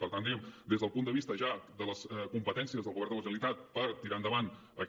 per tant diguem ne des del punt de vista ja de les competències del govern de la generalitat per tirar endavant aquest